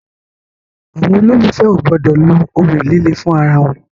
Àwọn olólùfè o gbọdọ lo ohun líle fún ara wọn.